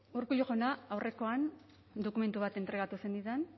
urkullu jauna aurrekoan dokumentu bat entregatu zenidan